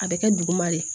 A bɛ kɛ duguma de